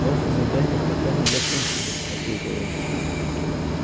ваше задание пока не закончено ответил он